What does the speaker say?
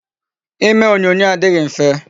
Ime onyonyo adịghị mfe.